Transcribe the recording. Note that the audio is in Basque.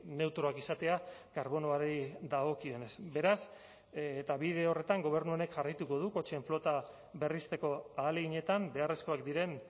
neutroak izatea karbonoari dagokionez beraz eta bide horretan gobernu honek jarraituko du kotxeen flota berrizteko ahaleginetan beharrezkoak diren